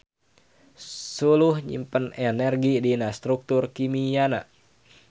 Suluh nyimpen energi dina struktur kimiana.